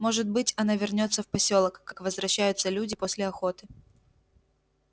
может быть она вернётся в посёлок как возвращаются люди после охоты